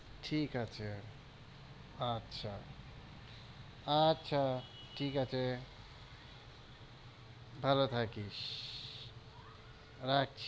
ঠিক আছে, আচ্ছা, আচ্ছা, ঠিক আছে, ভালো থাকিস, রাখছি,